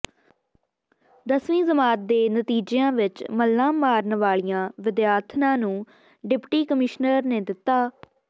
ਦਸਵੀਂ ਜਮਾਤ ਦੇ ਨਤੀਜਿਆਂ ਵਿੱਚ ਮੱਲਾਂ ਮਾਰਨ ਵਾਲੀਆਂ ਵਿਦਿਆਰਥਣਾਂ ਨੂੰ ਡਿਪਟੀ ਕਮਿਸ਼ਨਰ ਨੇ ਦਿੱਤਾ